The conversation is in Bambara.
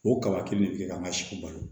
O kala kelen de bɛ kɛ ka n ka si balo